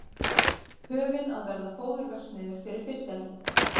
Höfin að verða fóðurverksmiðjur fyrir fiskeldi